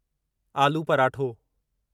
आलू पराठो